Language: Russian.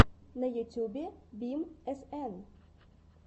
на ютьюбе бим эсэн